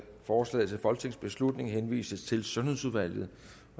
forslaget til folketingsbeslutning henvises til sundhedsudvalget